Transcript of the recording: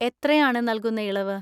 എത്രയാണ് നൽകുന്ന ഇളവ്?